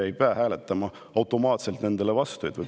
Ei pea hääletama automaatselt nende vastu.